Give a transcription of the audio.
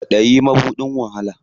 Kwaɗayi mabuɗin wahala.